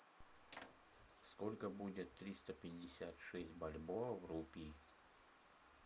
сколько будет триста пятьдесят шесть бальбоа в рупии